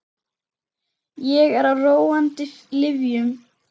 Ég er á róandi lyfjum.